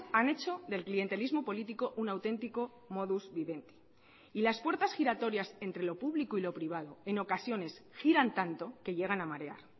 han hecho del clientelismo político un auténtico modus vivendi y las puertas giratorias entre lo público y lo privado en ocasiones giran tanto que llegan a marear